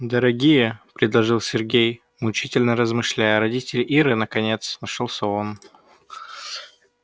дорогие предложил сергей мучительно размышляя родители иры наконец нашёлся он